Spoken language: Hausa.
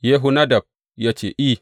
Yehonadab ya ce, I.